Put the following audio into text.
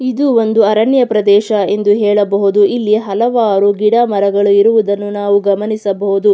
ಇದು ಒಂದು ಅರಣ್ಯ ಪ್ರದೇಶ ಎಂದು ಹೇಳಬಹುದು ಇಲ್ಲಿ ಹಲವಾರು ಗಿಡ ಮರಗಳು ಇರುವುದನ್ನು ನಾವು ಗಮನಿಸಬಹುದು.